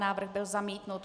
Návrh byl zamítnut.